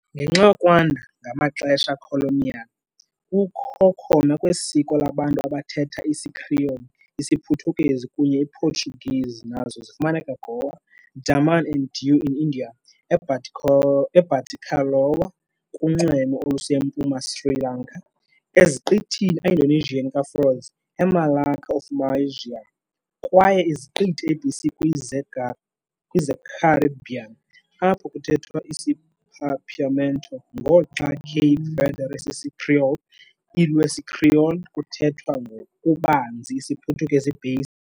Ngenxa yokwanda ngamaxesha colonial, kukho khona kwesiko labantu abathetha isiCreole IsiPhuthukezi kunye Portuguese nazo zifumaneka Goa, Daman and Diu in India, e Batticaloa kunxweme olusempuma Sri Lanka, esiqithini Indonesian ka Flores, e Malacca of Malaysia, kwaye iziqithi ABC kwi zeCaribbean apho kuthethwa isiPapiamento, ngoxa Cape Verde sisiCreole i lwesiCreole kuthethwa ngokubanzi isiPhuthukezi-based.